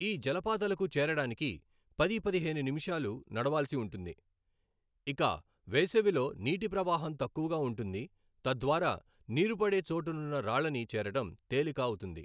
ఈ జలపాతాలకు చేరడానికి పది పదిహేను నిమిషాల నడవాల్సిన ఉంటుంది, ఇక వేసవిలో నీటి ప్రవాహం తక్కువగా ఉంటుంది తద్వారా నీరు పడే చోటనున్న రాళ్ళని చేరడం తేలిక అవుతుంది.